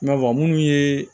I n'a fɔ minnu ye